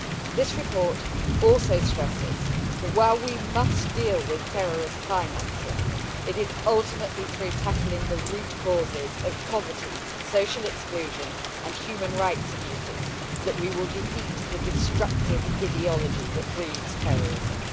This report also stresses that, while we must deal with terrorist financing, it is ultimately through tackling the root causes of poverty, social exclusion and human rights abuses that we will defeat the destructive ideology that breeds terrorism.